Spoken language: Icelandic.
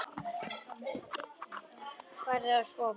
Farðu að sofa.